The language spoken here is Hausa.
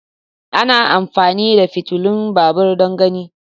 ana amfani da fitilun babur don gani.